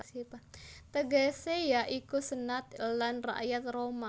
Tegesé ya iku Senat lan Rakyat Roma